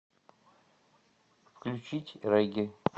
включить регги